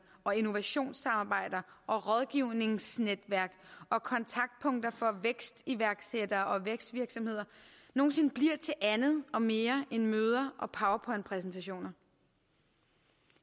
og innovationssamarbejder og rådgivningsnetværk og kontaktpunkter for vækstiværksættere og vækstvirksomheder nogen sinde bliver til andet og mere end møder og powerpointpræsentationer